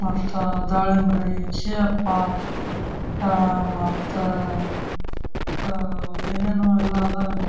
ಮತ್ತೆ ದಾಲೆಮ್ಬ್ರಿ ಕ್ಷೇಪ ಅಹ್ ಅಹ್ ಮತ್ತೆ ಅಹ್ ಅಹ್ ಮತ್ತ ಏನೋನೋ ಎಲ್ಲಾ ಇದಾವ ಇಲ್ಲಿ.